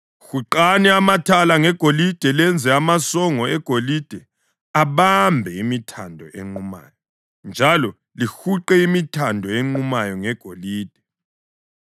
Huqani amathala ngegolide lenze amasongo egolide abambe imithando enqumayo. Njalo lihuqe imithando enqumayo ngegolide.